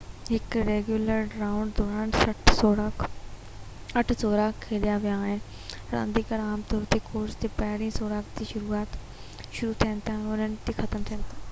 هڪ regular round دوران اٺ سوراخ کيڏيا ويا آهن رانديگر عام طور تي ڪورس تي پهريئن سوراخ تي شروع ٿين ٿا ۽ اٺين تي ختم ٿين ٿا